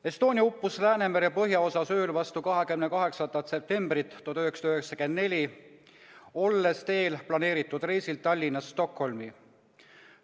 Estonia uppus Läänemere põhjaosas ööl vastu 28. septembrit 1994, olles planeeritud reisil Tallinnast Stockholmi.